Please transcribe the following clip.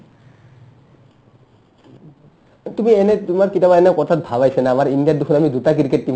তুমি এনে তোমাৰ কিতাবা এনে কথাত ভাব আহিছে না আমাৰ ইণ্ডিয়াত দেখুন আমি দুটা cricket team